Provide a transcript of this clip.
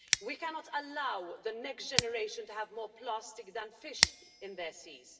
We cannot allow the next generation to have more plastic than fish in their seas.